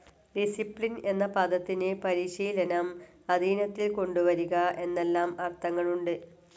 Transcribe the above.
Discipline എന്ന പദത്തിനു പരിശീലനം, അധീനത്തിൽ കൊണ്ടുവരിക എന്നെല്ലാം അർത്ഥങ്ങളുണ്ട്.